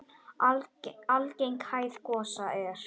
Algeng hæð gosa er